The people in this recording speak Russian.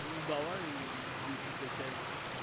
давай если дотянешь